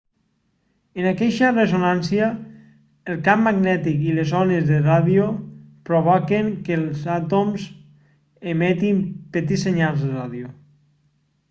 en aqueixa ressonància el camp magnètic i les ones de ràdio provoquen que els àtoms emetin petits senyals de ràdio